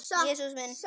Jesús minn.